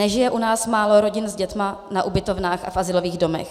Nežije u nás málo rodin s dětmi na ubytovnách a v azylových domech.